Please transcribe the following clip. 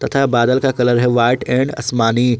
तथा बादल का कलर है व्हाइट एंड आसमानी।